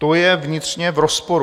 To je vnitřně v rozporu.